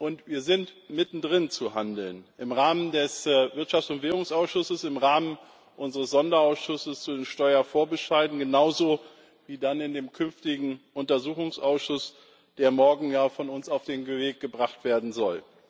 Und wir sind mittendrin zu handeln im Rahmen des Wirtschafts und Währungsausschusses, im Rahmen unseres Sonderausschusses zu den Steuervorbescheiden genauso, wie in dem künftigen Untersuchungsausschuss, der morgen von uns auf den Weg gebracht werden soll.